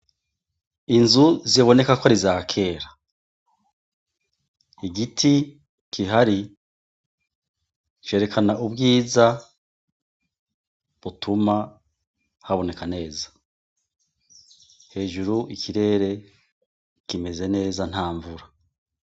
Inzu ziboneka ko arizakera igiti kihari cerekana ubwiza butuma haboneka neza hejuru ikirere kimeze neza nta mvura.